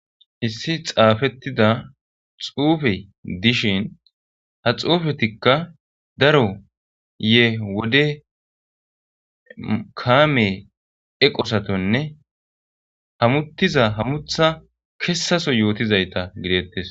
Issi xaafettida xuufe dishin ha xuufetikka daro yee wode kaame eqosatonne hamuttiza hamutha kessaso yootizayta gideettes.